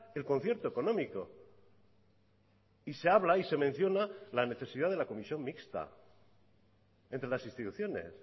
el concierto económico y se habla y se menciona la necesidad de la comisión mixta entre las instituciones